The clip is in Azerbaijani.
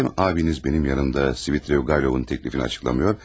Malum abiniz mənim yanımda Svidriqaylovun təklifini açıqlamıyor.